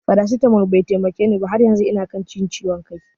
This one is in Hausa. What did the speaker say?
Farasitamol bai taimake ni ba, har yanzu ina kan jin ciwon kai